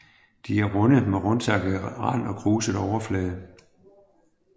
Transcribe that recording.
De er runde med rundtakket rand og kruset overflade